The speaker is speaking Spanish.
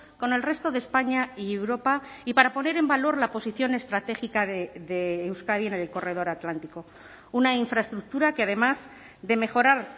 con el resto de españa y europa y para poner en valor la posición estratégica de euskadi en el corredor atlántico una infraestructura que además de mejorar